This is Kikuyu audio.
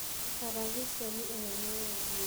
Karaviceni ĩno nĩyendio.